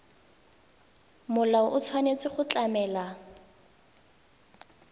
molao o tshwanetse go tlamela